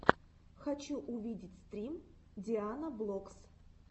хочу увидеть стрим дианаблокс